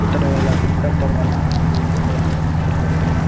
ఇతను ఇలా పిక్ పెట్టడం వల్ల అందరికీ ఇన్స్పైర్ గా మారడం జరుగుతుంది.